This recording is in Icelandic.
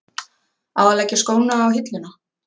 Á að leggja skónna á hilluna?